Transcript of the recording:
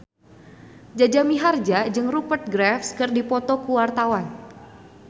Jaja Mihardja jeung Rupert Graves keur dipoto ku wartawan